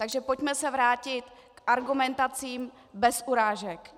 Takže pojďme se vrátit k argumentacím bez urážek.